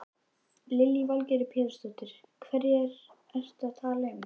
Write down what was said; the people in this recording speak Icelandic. Lillý Valgerður Pétursdóttir: Hverja ertu að tala um?